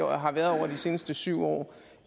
har været over de seneste syv år